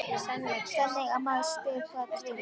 Þannig að maður spyr, hvað dvelur?